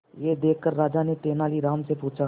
यह देखकर राजा ने तेनालीराम से पूछा